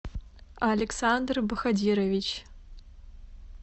александр бахадирович